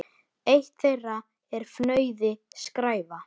Eitt þeirra er fnauði: skræfa.